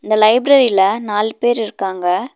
இந்த லைப்ரரில நால் பேர் இருக்காங்க.